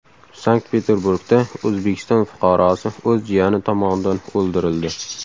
Sankt-Peterburgda O‘zbekiston fuqarosi o‘z jiyani tomonidan o‘ldirildi.